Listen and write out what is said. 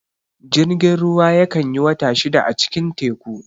Jirgin ruwa ya kan yi wata shida a cikin teku